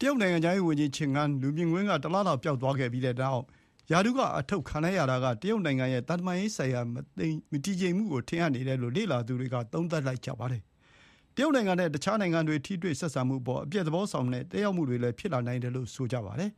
တရုတ် နိုင်ငံခြားရေးဝန်ကြီး Qin Gang ဟာ လူမြင်ကွင်းကတလ လောက်ပျောက်ပြီးနောက်ပိုင်း ရာထူးက ထုတ်ပယ်ခံလိုက်ရတာက တရုတ် နိုင်ငံရဲ့ သံတမန်ရေးမှာ မတည်ငြိမ်မှုတွေကို ထင်ဟပ်စေတယ်လို့ လေ့လာသူတွေ သုံးသပ်နေကြပါတယ်။ တရုတ်နိုင်ငံနဲ့ အခြားနိုင်ငံတွေ ထိတွေ့ဆက်ဆံမှုအပေါ် အပျက် သဘောဆောင်တဲ့ သက်ရောက်မှုတွေလည်း ဖြစ်လာနိုင်တယ်လို့ ဆိုပါတယ်။ လက်